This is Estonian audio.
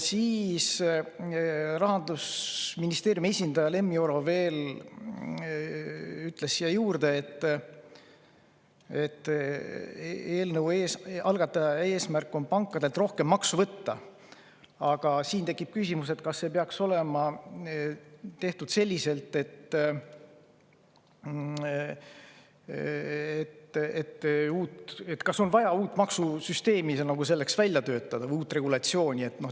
Rahandusministeeriumi esindaja Lemmi Oro ütles veel sinna juurde, et eelnõu algataja eesmärk on pankadelt rohkem maksu võtta, aga siin tekib küsimus, kas see peaks olema tehtud selliselt, et selleks oleks vaja nagu uut maksusüsteemi või uut regulatsiooni välja töötada.